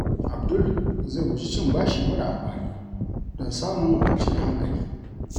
Abdul zai guji cin bashi mara amfani don samun kwanciyar hankali.